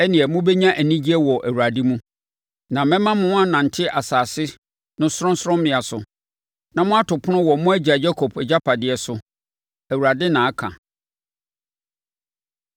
ɛnneɛ mobɛnya anigyeɛ wɔ Awurade mu na mɛma mo anante asase no sorɔnsorɔmmea so na moato pon wɔ mo agya Yakob agyapadeɛ so.” Awurade na aka.